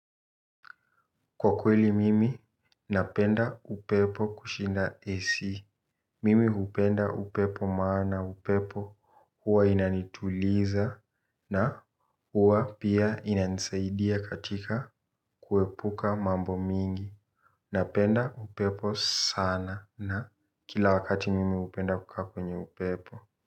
Kwa kweli mimi napenda upepo kushinda AC. Mimi hupenda upepo maana upepo huwa inanituliza na huwa pia inanisaidia katika kuepuka mambo mingi. Napenda upepo sana na kila wakati mimi hupenda kukaa kwenye upepo.